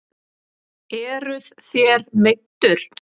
Eruð þér meiddur?